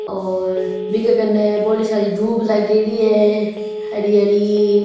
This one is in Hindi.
और बीगे कन्ने बड़ी सारी दूब लागेड़ी है हरी हरी।